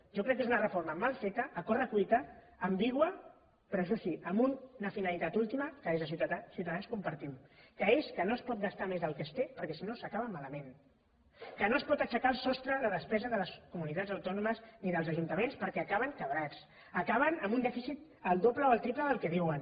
jo crec que és una reforma mal feta a corre cuita ambigua però això sí amb una finalitat última que des de ciutadans compartim que és que no es pot gastar més del que es té perquè si no s’acaba malament que no es pot aixecar el sostre de despesa de les comunitats autònomes ni dels ajuntaments perquè acaben en fallida acaben amb un dèficit el doble o el triple del que diuen